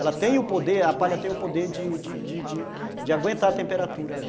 Ela tem o poder, a palha tem o poder de de de de aguentar a temperatura ali.